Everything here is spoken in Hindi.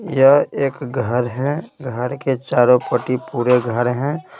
यह एक घर है घर के चारों पट्टी पूरे घर हैं।